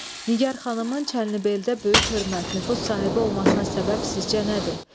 Nigar xanımın Çənlibeldə böyük hörmət, nüfuz sahibi olmasına səbəb sizcə nədir?